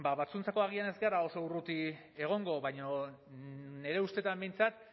batzuentzat agian ez gara oso urruti egongo baina nire ustetan behintzat